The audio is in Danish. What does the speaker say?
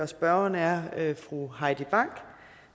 spørgeren er fru heidi bank og